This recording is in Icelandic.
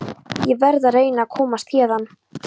Ég verð að reyna að komast héðan.